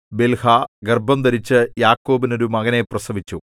Bilhah ഗർഭംധരിച്ചു യാക്കോബിന് ഒരു മകനെ പ്രസവിച്ചു